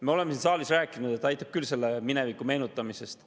Me oleme siin saalis rääkinud, et aitab küll mineviku meenutamisest.